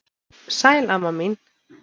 Sæl amma mín.